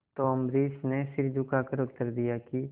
तो अम्बरीश ने सिर झुकाकर उत्तर दिया कि